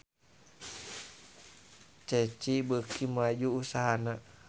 Ceci beuki maju usahana